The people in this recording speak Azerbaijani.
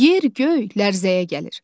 Yer, göy lərzəyə gəlir.